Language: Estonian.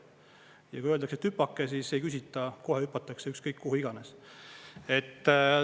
Ja kui öeldakse, et hüpake, siis ei küsita, kohe hüpatakse, ükskõik, kuhu iganes.